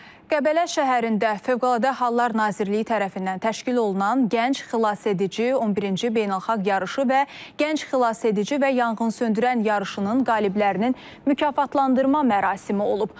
Qəbələ şəhərində Fövqəladə Hallar Nazirliyi tərəfindən təşkil olunan Gənc Xilasedici 11-ci beynəlxalq yarışı və Gənc Xilasedici və Yanğınsöndürən yarışının qaliblərinin mükafatlandırma mərasimi olub.